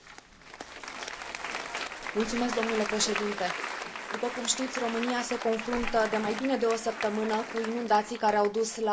După cum știți, România se confruntă de mai bine de o săptămână cu inundații care au dus la decesul a 23 de persoane și distrugerea a mii de locuințe.